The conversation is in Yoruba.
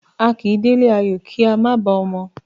A kì í délé ayò ká má bàá ọmọ.